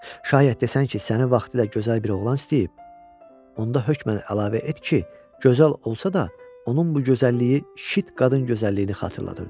Şayət desən ki, səni vaxtilə gözəl bir oğlan istəyib, onda hökmən əlavə et ki, gözəl olsa da onun bu gözəlliyi şit qadın gözəlliyini xatırladırdı.